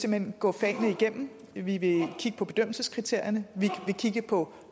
hen gå fagene igennem vi vil kigge på bedømmelseskriterierne vi vil kigge på